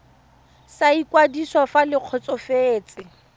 sa ikwadiso fa le kgotsofetse